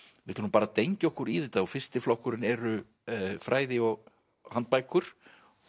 við ætlum nú bara að dengja okkur í þetta og fyrsti flokkurinn eru fræði og handbækur